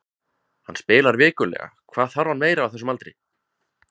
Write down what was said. Hann spilar vikulega, hvað þarf hann meira á þessum aldri?